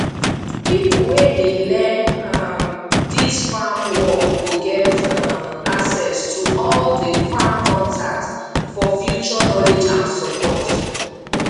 pipo wey dey learn um dis farm work go get um access to all di farm contact for future knowledge and support